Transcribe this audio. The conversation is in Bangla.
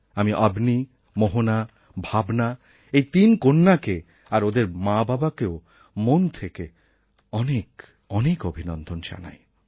আমি অবনী মোহনা ভাবনা এই তিন কন্যাকে আর ওদের মাবাবাকেও মন থেকে অনেক অনেক অভিনন্দন জানাই